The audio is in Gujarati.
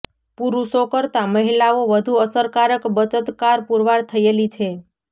પુરુષો કરતાં મહિલાઓ વધુ અસરકારક બચતકાર પુરવાર થયેલી છે